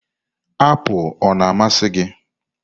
apụl ọ na-amasị gị?